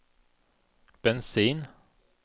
bensin